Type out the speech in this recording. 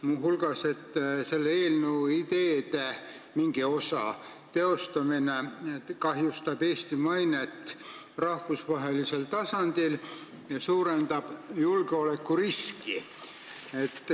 Muu hulgas on öeldud, et selle eelnõu mingi osa teostamine kahjustab Eesti mainet rahvusvahelisel tasandil ja suurendab julgeolekuriski.